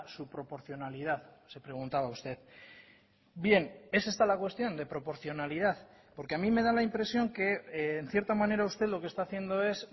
su proporcionalidad se preguntaba usted bien es esta la cuestión de proporcionalidad porque a mí me da la impresión que en cierta manera usted lo que está haciendo es